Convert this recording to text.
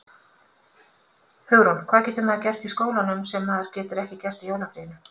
Hugrún: Hvað getur maður gert í skólanum sem maður getur ekki gert í jólafríinu?